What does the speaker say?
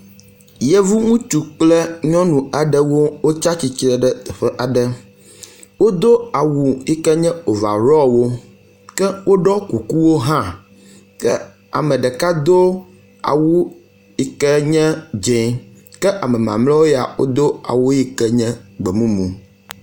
Yevu ŋutsu kple nyɔnu aɖewo wotsi atsitre ɖe teƒe aɖe. Wodo awu yi ke nye overall hã ke woɖɔ kukuwo hã. Ke ame ɖeka do awu yi ke nye dzɛ̃ ke ame mamleawo ya do awu yi ke nye gbe mumu